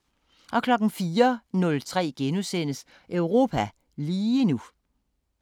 04:03: Europa lige nu *